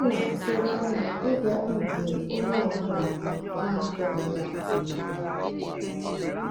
Ọ na-atụ anya ịbịaru mgbe onye ọ bụla na-atụghị ya anya.